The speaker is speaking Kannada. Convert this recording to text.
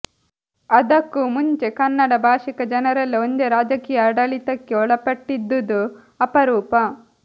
ಅದಕ್ಕೂ ಮುಂಚೆ ಕನ್ನಡ ಭಾಷಿಕ ಜನರೆಲ್ಲ ಒಂದೇ ರಾಜಕೀಯ ಆಡಳಿತಕ್ಕೆ ಒಳಪಟ್ಟಿದ್ದುದು ಅಪರೂಪ